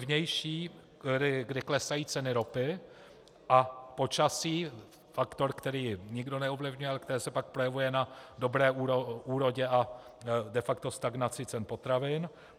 Vnější, kdy klesají ceny ropy, a počasí, faktor, který nikdo neovlivňuje, ale který se pak projevuje na dobré úrodě a de facto stagnaci cen potravin.